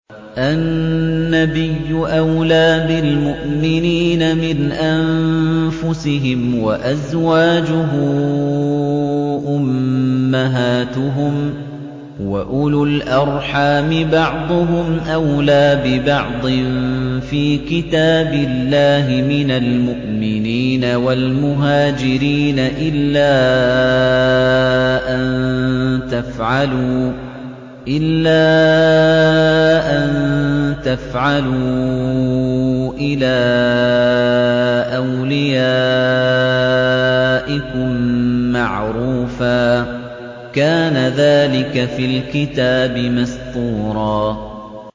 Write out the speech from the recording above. النَّبِيُّ أَوْلَىٰ بِالْمُؤْمِنِينَ مِنْ أَنفُسِهِمْ ۖ وَأَزْوَاجُهُ أُمَّهَاتُهُمْ ۗ وَأُولُو الْأَرْحَامِ بَعْضُهُمْ أَوْلَىٰ بِبَعْضٍ فِي كِتَابِ اللَّهِ مِنَ الْمُؤْمِنِينَ وَالْمُهَاجِرِينَ إِلَّا أَن تَفْعَلُوا إِلَىٰ أَوْلِيَائِكُم مَّعْرُوفًا ۚ كَانَ ذَٰلِكَ فِي الْكِتَابِ مَسْطُورًا